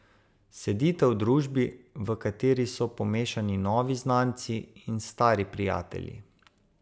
Sedite v družbi, v kateri so pomešani novi znanci in stari prijatelji.